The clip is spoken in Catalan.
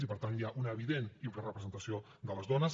i per tant hi ha una evident infrarepresentació de les dones